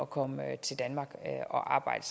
komme til danmark og arbejde